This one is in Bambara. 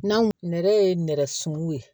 N'an nɛrɛ ye nɛrɛ sumanw ye